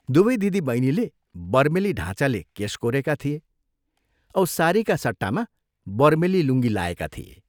दुवै दिदी बैनीले बर्मेली ढाँचाले केश कोरेका थिए औ सारीका सट्टामा बर्मेली लुङ्गी लाएका थिए।